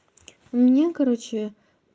у меня короче